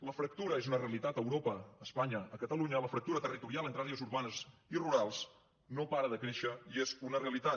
la fractura és una realitat a europa a espanya a catalunya la fractura territorial entre àrees urbanes i rurals no para de créixer i és una realitat